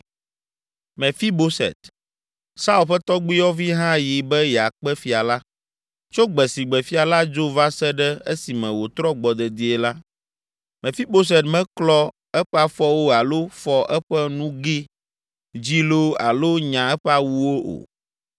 Mefiboset, Saul ƒe tɔgbuiyɔvi hã yi be yeakpe fia la. Tso gbe si gbe fia la dzo va se ɖe esime wòtrɔ gbɔ dedie la, Mefiboset meklɔ eƒe afɔwo alo fɔ eƒe nuge dzi loo alo nya eƒe awuwo o.